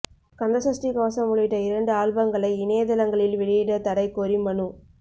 கந்தசஷ்டி கவசம் உள்ளிட்ட இரண்டு ஆல்பங்களை இணையதளங்களில் வெளியிட தடை கோரி மனு